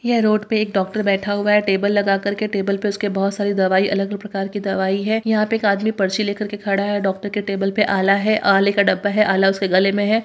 यह रोड पे एक डॉक्टर बैठा हुआ है टेबल लगा कर के टेबल पे उसके बहुत सारी दवाई अलग-अलग प्रकार की दवाई है यहाँ पे एक आदमी पर्ची ले कर के खड़ा है डॉक्टर की टेबल पे आला है आले का डब्बा है आला उसके गले में है।